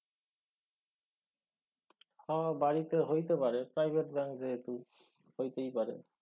হ বাড়িতে হইতে পারে private ব্যাঙ্ক যেহেতু। হইতেই পারে।